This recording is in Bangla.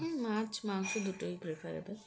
হ্যাঁ মাছ মাংস দুটোই preferable